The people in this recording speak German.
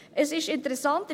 Es ist interessant: